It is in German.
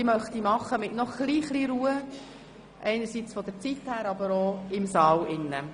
Dies möchte ich noch mit einem klein bisschen mehr Ruhe im Saal tun.